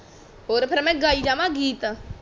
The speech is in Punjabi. ਹੋਰ ਫੇਰ ਮੈਂ ਗਾਈ ਜਾਵਾ ਗੀਤ